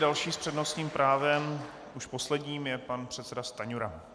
Další s přednostním právem, už posledním, je pan předseda Stanjura.